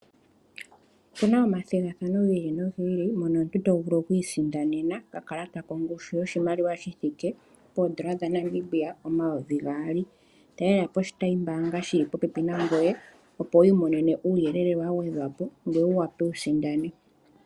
Opuna omathigathano gi ili nogi ili, mono omuntu to vulu okwiisindanena okakalata kongushu yoshimaliwa shi thiike poondola dha Namibia omayovi gaali. Talelapo oshitayi mbaanga shili popepi nangoye opo wu imonene uuyelele wa gwedhwa po, ngoye wu wape wu sindane.